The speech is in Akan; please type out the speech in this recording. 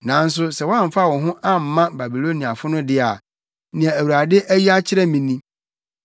Nanso sɛ woamfa wo ho amma Babiloniafo no de a, nea Awurade ayi akyerɛ me ni: